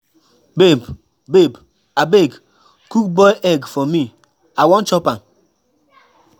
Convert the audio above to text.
Babe Babe abeg cook boiled egg for me, I wan chop am.